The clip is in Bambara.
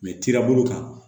kirabolo kan